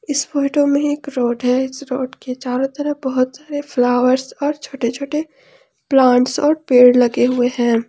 इस फोटो में एक रोड है इस रोड के चारों तरफ बहुत सारे फ्लावर्स और छोटे छोटे प्लांट्स और पेड़ लगे हुए हैं।